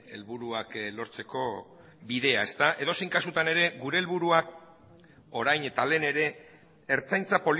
helburuak lortzeko bidea edozein kasutan ere gure helburua orain eta lehen ere ertzaintza